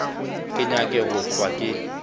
ke nyake go hlwa ke